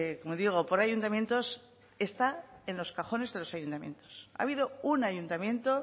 como digo por ayuntamientos está en los cajones de los ayuntamientos ha habido un ayuntamiento